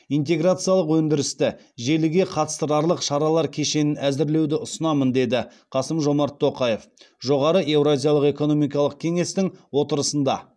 интеграциялық өндірісті желіге қатыстырарлық шаралар кешенін әзірлеуді ұсынамын деді қасым жомарт тоқаев жоғары еуразиялық экономикалық кеңестің отырысында